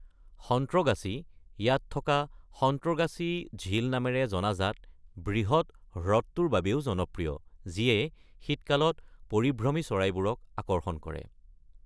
সন্ত্ৰগাছি ইয়াত থকা সন্ত্ৰগাছি ঝীল নামেৰে জনাজাত বৃহৎ হ্ৰদ্ৰটোৰ বাবেও জনপ্ৰিয়, যিয়ে শীতকালত পৰিভ্ৰমী চৰাইবোৰক আকৰ্ষণ কৰে।